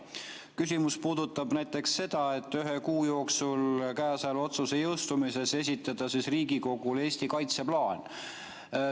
Küsimus puudutab näiteks seda, et ühe kuu jooksul käesoleva otsuse jõustumisest esitada Riigikogule Eesti kaitseplaan.